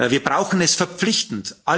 Wir brauchen es verpflichtend.